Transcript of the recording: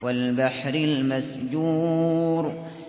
وَالْبَحْرِ الْمَسْجُورِ